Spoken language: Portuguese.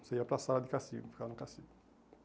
Você ia para sala de castigo, ficava no castigo.